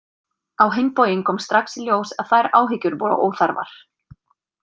Á hinn bóginn kom strax í ljós að þær áhyggjur voru óþarfar.